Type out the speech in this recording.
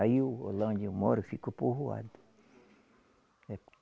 Aí o lá onde eu moro ficou povoado